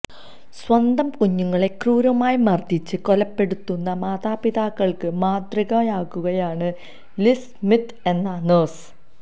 സ്വന്തം കുഞ്ഞുങ്ങളെ ക്രൂരമായി മര്ദ്ദിച്ച് കൊലപ്പെടുത്തുന്ന മാതാപിതാക്കള്ക്ക് മാതൃകയാകുകയാണ് ലിസ് സ്മിത്ത് എന്ന നഴ്സ്